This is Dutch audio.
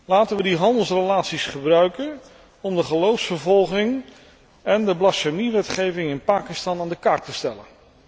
Laten we de handelsrelaties gebruiken om de geloofsvervolging en de blasfemiewetgeving in Pakistan aan de kaak te stellen.